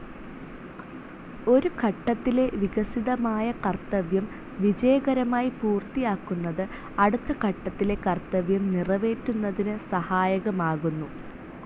ഒരു ഘട്ടത്തിലെ വികസിതമായ കർത്തവ്യം വിജയകരമായി പൂർത്തിയാക്കുന്നത് അടുത്ത ഘട്ടത്തിലെ കർത്തവ്യം നിറവേറ്റുന്നതിന് സഹായകമാകുന്നു.